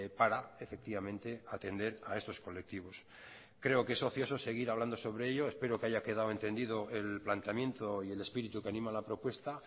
para efectivamente atender a estos colectivos creo que es ocioso seguir hablando sobre ello espero que haya quedado entendido el planteamiento y el espíritu que anima la propuesta